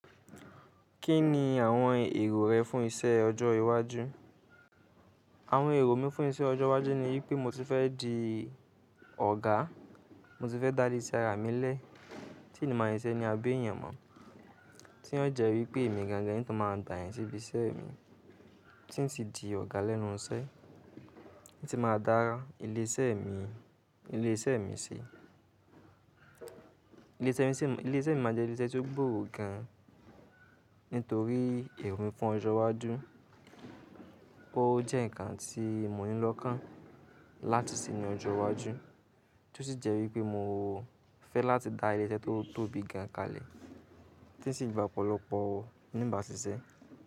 Kí ni àwọn èrò rẹ fún iṣẹ́ ọjọ́ iwájú? Àwọn èrò mi fún iṣẹ́ ọjọ́ iwájú ni wípé mo ti fẹ́ di ọ̀gá, mo ti fẹ́ dá ilé ṣe ara mi lẹ́ẹ́, tí ni má ṣiṣẹ́ ní abẹ́ ènìyàn mọ́. Tí ó jẹ́ wípé èmi gan-an gan-an ni tó máa ń gbà èyàn síbi iṣẹ́ mi tí ń ti di ọ̀gá lẹ́nu iṣẹ́, tí máa dá ilé iṣẹ́ mi, ilé iṣẹ́ mi sí. Ilé iṣẹ́ mi máa jẹ́ ilé iṣẹ́ tí ó gbòrò gan-an nítorí èrò fún ọjọ́ iwájú o jẹ́ ǹkan tí mo ní lọ́kán láti sì ní ọjọ́ iwájú tí ó sì jẹ́ wípé mo fẹ́ láti dá ilé iṣẹ́ tí ó tóbi gan kalẹ̀ tí ó sì gba ọ̀pọ̀lọpọ̀ níbà ṣíṣẹ́.